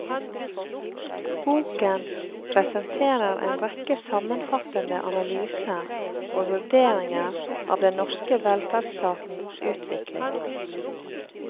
Boken presenterer en rekke sammenfattende analyser og vurderinger av den norske velferdsstatens utvikling.